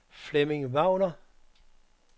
Flemming Wagner